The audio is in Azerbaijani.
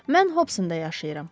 Mən Hobsonda yaşayıram.